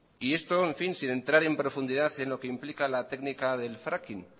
y esto sin entrar en profundidad en lo que implica la técnica del fracking